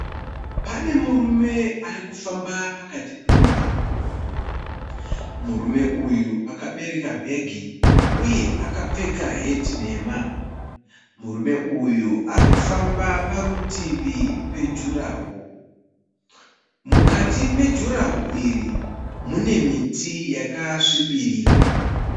Pane murume arikufamba pakati pemugwagwa. Murume uyu akabereka bhegi uye akapfeka heti nhema. Murume uyu arikufamba parutivi pejurahoro. Mukati mejurahoro iri mune miti yakasvibirira.